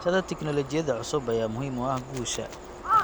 Barashada tignoolajiyada cusub ayaa muhiim u ah guusha.